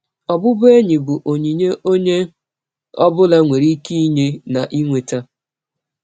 Ọbụbụenyi bụ ọnyịnye ọnye ọ bụla nwere ịke inye na inweta.